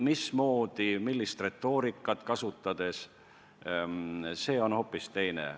Mismoodi, millist retoorikat kasutades seda tehakse, see on hoopis teine asi.